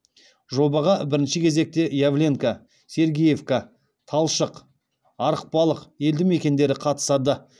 жобаға бірінші кезекте явленка сергеевка талшық арықбалық елді мекендері қатысады